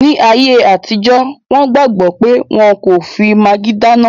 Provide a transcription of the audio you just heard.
Ní ayé àtijọ́, wọn gbàgbọ̀ pé wọ́n ò kí n fi magí dáná